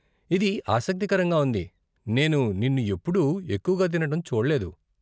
ఇది ఆసక్తికరంగా ఉంది, నేను నిన్ను ఎప్పుడూ ఎక్కువగా తినటం చూడలేదు.